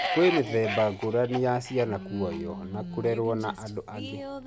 Kwĩ mĩthemba ngũrani ya ciana kuoyo na kũrerwo na andũ angĩ.